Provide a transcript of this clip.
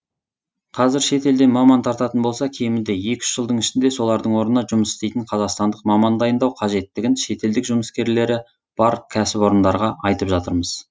қазір шетелден маман тартатын болса кемінде екі үш жылдың ішінде солардың орнына жұмыс істейтін қазақстандық маман дайындау қажеттігін шетелдік жұмыскерлері бар кәсіпорындарға айтып жатырмыз